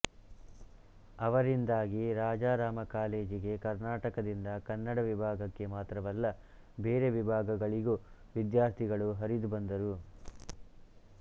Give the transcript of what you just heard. ಅವರಿಂದಾಗಿ ರಾಜಾರಾಮ ಕಾಲೇಜಿಗೆ ಕರ್ನಾಟಕದಿಂದ ಕನ್ನಡ ವಿಭಾಗಕ್ಕೆ ಮಾತ್ರವಲ್ಲ ಬೇರೆ ವಿಭಾಗಗಳಿಗೂ ವಿದ್ಯಾರ್ಥಿಗಳು ಹರಿದುಬಂದರು